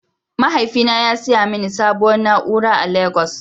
Mahaifina ya saya mini sabuwar na'ura a legos.